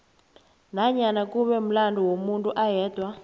nanyana kube mulando womuntu ayedwa